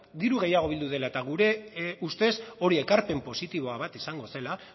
diru gehiago bildu dela eta gure ustez hori ekarpen positiboa bat izango zela